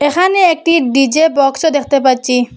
এখানে একটি ডি_জে বক্সও দেখতে পাচ্ছি।